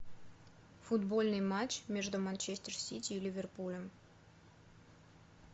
футбольный матч между манчестер сити и ливерпулем